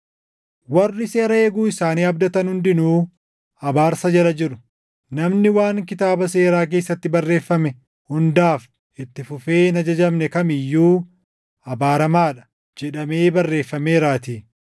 Warri seera eeguu isaanii abdatan hundinuu abaarsa jala jiru; “Namni waan Kitaaba Seeraa keessatti barreeffame hundaaf itti fufee hin ajajamne kam iyyuu abaaramaa dha” + 3:10 \+xt KeD 27:26\+xt* jedhamee barreeffameeraatii.